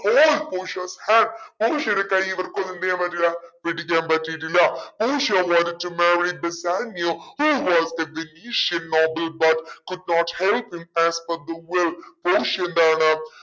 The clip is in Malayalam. hold പോഷിയാസ് hands പോഷിയാടെ കൈ ഇവർക്കൊന്നും എന്തെയാൻ പറ്റൂലാ പിടിക്കാൻ പറ്റീട്ടില്ല പോഷിയ wanted to marry Bassanio who was the noble but could not help him പോഷിയ എന്താണ്